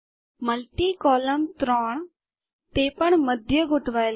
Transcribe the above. multi column ત્રણ તે પણ મધ્ય ગોઠવાયેલ કરવા